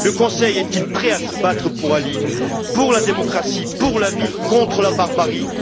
Le Conseil est il prêt à se battre pour Ali, pour la démocratie, pour la vie, contre la barbarie?